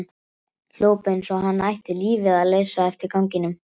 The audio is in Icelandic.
Hljóp eins og hann ætti lífið að leysa eftir ganginum.